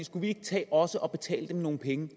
skulle vi ikke tage også at betale dem nogle penge